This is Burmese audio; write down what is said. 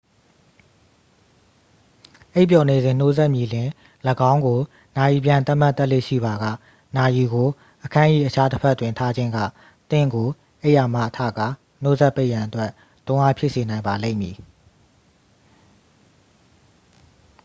အိပ်ပျော်နေစဉ် နှိုးစက်မြည်လျှင် ၎င်းကို နာရီပြန်သတ်မှတ်တတ်လေ့ရှိပါက နာရီကို အခန်း၏တခြားတစ်ဖက်တွင် ထားခြင်းက သင့်ကိုအိပ်ယာမှထကာ နှိုးစက်ပိတ်ရန်အတွက် တွန်းအားဖြစ်စေနိုင်ပါလိမ့်မည်